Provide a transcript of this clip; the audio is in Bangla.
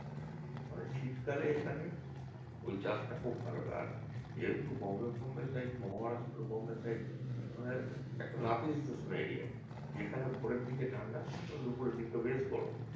মানে শীতকালে এখানে ঐ চাষটা খুব ভালো আর যেহেতু Bombay ফম্বে side মানে Maharashtra Bombay side মানে একটা নাতিশীতোষ্ণ area যেখানে ভোরের দিকে ঠাণ্ডা আবার দুপুরের দিকে বেশ গরম